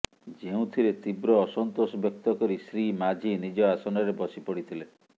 ଯେଉଁଥିରେ ତୀବ୍ର ଅସନ୍ତୋଷ ବ୍ୟକ୍ତ କରି ଶ୍ରୀ ମାଝୀ ନିଜ ଆସନରେ ବସିପଡ଼ିଥିଲେ